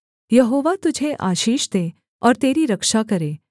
यहोवा तुझे आशीष दे और तेरी रक्षा करे